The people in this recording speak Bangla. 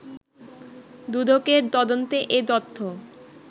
দুদকের তদন্তে এ তথ্য